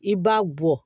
I b'a bɔ